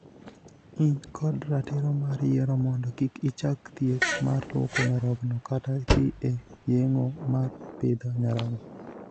In kod ratiro mar yiero mondo kik ichak thieth mar luoko nyarogno kata dhii e yengo mar pidho nyarogno.